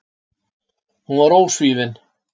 Hún var ósvífin.